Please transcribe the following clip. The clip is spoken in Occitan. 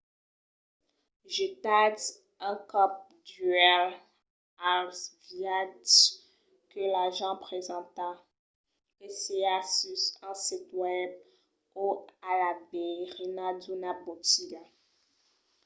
getatz un còp d'uèlh als viatges que l'agent presenta que siá sus un sit web o a la veirina d'una botiga